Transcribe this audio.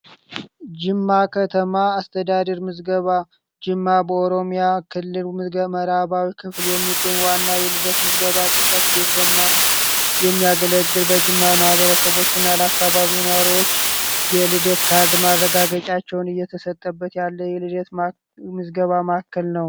ጅማ ከተማ አስተዳድር ምዝገባ ጅማ በኦሮሚያ ክልሉ መራባዊ ክፍል የሚገኝ ዋና የልደት ምዝገባ ጽህፈት ቤት በመሆን የሚያገለግል በጅማ ማህበረሰቦች እና ለአካባቢው ነዋሪዎች የልደት ካርድ ማድረጋገጫቸውን እየተሰጠበት ያለ የልደት ምዝገባ ማእከል ነው።